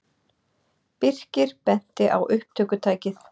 Birkir benti á upptökutækið.